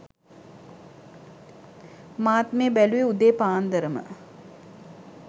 මාත් මේ බැලුවේ උදේ පාන්දරම